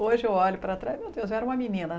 Hoje eu olho para trás, meu Deus, eu era uma menina.